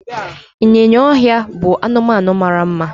ịnyịnya ọhịa bụ anụmanụ mara mma